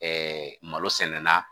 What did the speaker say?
Ɛɛ malo sɛnɛna